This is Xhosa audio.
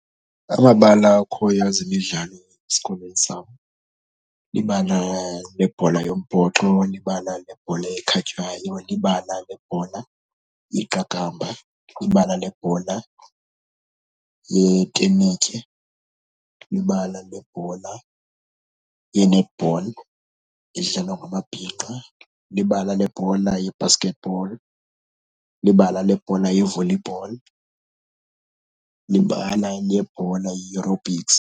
Amabala akhoyo ezemidlalo esikolweni sam libala lebhola yombhoxo, libala lebhola ekhatywayo, libala lebhola iqakamba, libala lebhola yentenetye, libala lebhola ye-netball edlalwa ngamabhinqa, libala lebhola ye-basket ball, libala lebhola ye-volleyball, libala lebhola ye-aerobics.